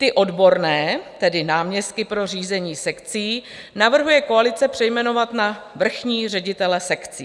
Ty odborné, tedy náměstky pro řízení sekcí, navrhuje koalice přejmenovat na vrchní ředitele sekcí.